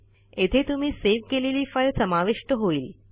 येथे तुम्ही सेव्ह केलेली फाईल समाविष्ट होईल